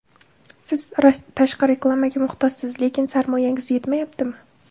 Siz tashqi reklamaga muhtojsiz, lekin sarmoyangiz yetmayaptimi?